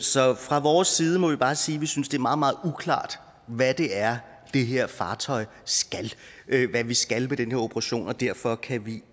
så fra vores side må vi bare sige at vi synes det er meget meget uklart hvad det er det her fartøj skal og hvad vi skal med den her operation og derfor kan vi